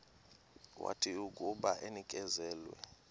wathi akuba enikezelwe